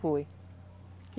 Foi.